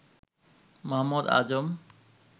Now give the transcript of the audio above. Mohammad Azam